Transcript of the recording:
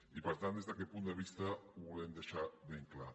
i per tant des d’aquest punt de vista ho volem deixar ben clar